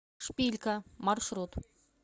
шпилька маршрут